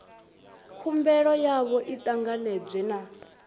khumbelo yavho i ṱanganedzwe na